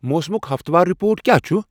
موسمُک ہفتہٕ وار رِپورٹ کیا چُھ ؟